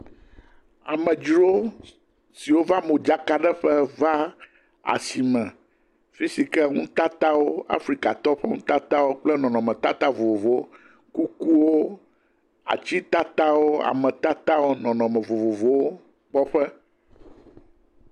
Amedzro siwo va modzakaɖeƒe va asime. Fi si ke nutatawo, Afrikatɔwo ƒe nutatawo kple nɔnɔmetata vovovowo. Woku wo, atitatawo, ametatawo, nɔnɔme vovovowo kpɔƒe.